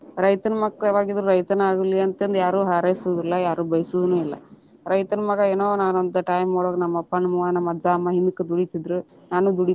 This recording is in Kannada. ರೈತನ ಮಕ್ಕಳ ಯಾವಾಗಿದ್ರು ರೈತನ ಆಗ್ಲಿ ಅಂತಂದ ಯಾರು ಹಾರೈಸುದಿಲ್ಲಾ ಯಾರು ಬೈಸುದುನು ಇಲ್ಲಾ, ರೈತನ ಮಗಾ ಏನೊ ನಾನ ಒಂದ time ಒಳಗ ನಮ್ಮ ಅಪ್ಪಾ ನಮ್ಮ ಅವ್ವಾ ನಮ್ಮ ಅಜ್ಜಾ ಅಮ್ಮಾ ಹಿಂದಕ ದುಡಿತಿದ್ರ ನಾನು ದುಡಿತೇನಿ.